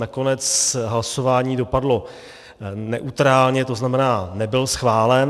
Nakonec hlasování dopadlo neutrálně, to znamená, nebyl schválen.